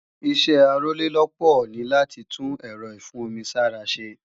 Ìṣẹ́ Arólélópòó ní láti tún èrọ ìfún-omi-sára ṣe